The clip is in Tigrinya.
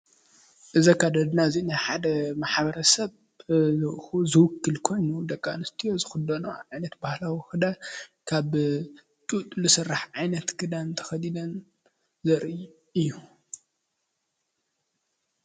እዚ ኣከዳድና እዚ ናይ ሓደ ማ/ሰብ ንዕኡ ዝውክል ኮይኑ ደቂ ኣንስትዮ ዝኽደነኦ ዓይነት ባህላዊ ኽዳን ካብ ጡጥ ዝስራሕ ዓይነት ክዳን ተኸዲነን ዘርኢ እዩ::